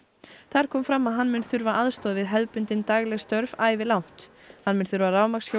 þar kom fram að hann mun þurfa aðstoð við hefðbundin dagleg störf ævilangt hann mun þurfa